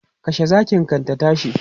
Kashe zakin kan ta tashi!